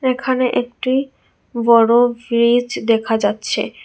এখানে একটি বড় ভ্রীজ দেখা যাচ্ছে।